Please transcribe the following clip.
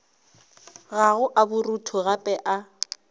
gago a borutho gape a